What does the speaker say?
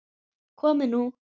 Komið nú